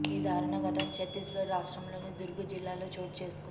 ఈ దారుణ ఘటన ఛత్తీస్గఢ్ రాష్ట్రంలోని దుర్గ్ జిల్లాలో చోటు చేసుకుంది